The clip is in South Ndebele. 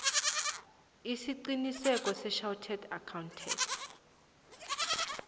isiqinisekiso sechartered accountant